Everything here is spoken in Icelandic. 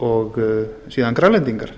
og síðan grænlendingar